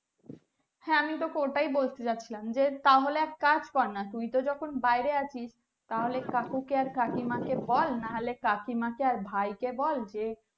হ্যাঁ আমি তোকে ওটাই বলতে যাচ্ছিলাম যে তাহলে এক কাজ কর না তুই তো যখন বাইরে আছিস তাহলে কাউকে কে আর কাকী মা কে বল নাহলে কাকিমা কে আর ভাই ক বল যে